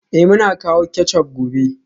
Eh, muna kawo ketchup gobe